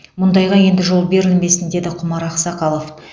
мұндайға енді жол берілмесін деді құмар ақсақалов